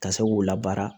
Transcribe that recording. Ka se k'u labaara